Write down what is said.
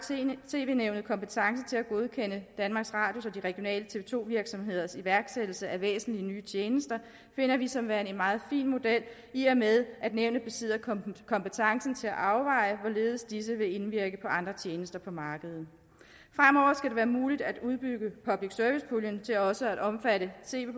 tv nævnet kompetence til at godkende danmarks radios og de regionale tv to virksomheders iværksættelse af væsentlige nye tjenester finder vi som værende en meget fin model i og med at nævnet besidder kompetencen til at afveje hvorledes disse vil indvirke på andre tjenester på markedet fremover skal det være muligt at udbygge public service puljen til også at omfatte tv